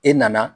E nana